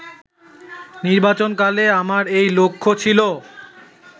নির্বাচনকালে আমার এই লক্ষ্য ছিল